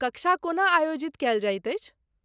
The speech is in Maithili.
कक्षा कोना आयोजित कयल जाइत अछि?